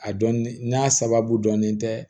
A dɔn n'a sababu dɔnnen tɛ